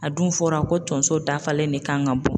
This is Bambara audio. A dun fɔra ko tonso dafalen de kan ka bɔ.